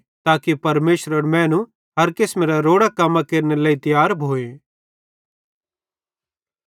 ताके परमेशरेरो मैनू हर किसमेरां रोड़ां कम्मां केरनेरे लेइ तियार भोए